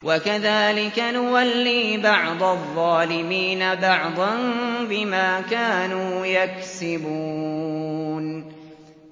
وَكَذَٰلِكَ نُوَلِّي بَعْضَ الظَّالِمِينَ بَعْضًا بِمَا كَانُوا يَكْسِبُونَ